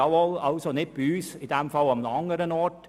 Wir wollen das nicht, macht es an einem anderen Ort.